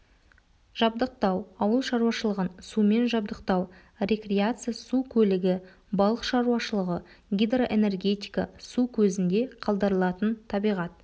жабдықтау ауыл шаруашылығын сумен жабдықтау рекреация су көлігі балық шаруашылығы гидроэнергетика су көзінде қалдырылатын табиғат